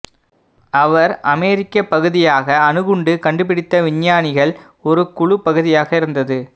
அவர் அமெரிக்க பகுதியாக அணு குண்டு கண்டுபிடித்த விஞ்ஞானிகள் ஒரு குழு பகுதியாக இருந்தது